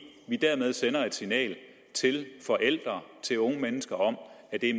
vi dermed sender et signal til forældre til unge mennesker om at det